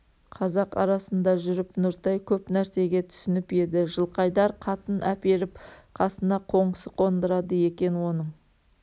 қазақ арасында жүріп нұртай көп нәрсеге түсініп еді жылқайдар қатын әперіп қасына қоңсы қондырады екен оның